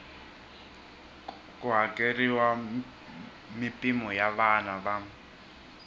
ku hakeriwa mimpimo ya vana